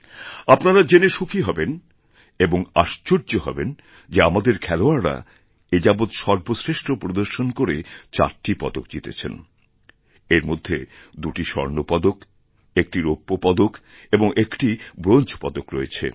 আপনারা জেনে সুখী হবেনএবং আশ্চর্য হবেন যে আমাদের খেলোয়াড়রা এ যাবৎ সর্বশ্রেষ্ঠ প্রদর্শন করে চারটি পদকজিতেছেন এর মধ্যে দুটি স্বর্ণপদক একটি রৌপ্য পদক এবং একটি ব্রোঞ্জ পদক রয়েছে